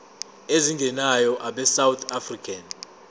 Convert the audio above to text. ezingenayo abesouth african